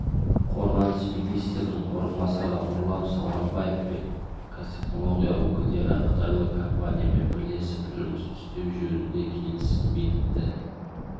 қорғаныс министрінің орынбасары нұрлан сауранбаев пен қазтехнология өкілдері қытайлық компаниямен бірлесіп жұмыс істеу жөнінде келісім бекітті